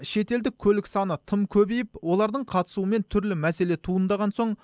шетелдік көлік саны тым көбейіп олардың қатысуымен түрлі мәселе туындаған соң